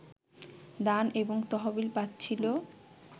দান এবং তহবিল পাচ্ছিল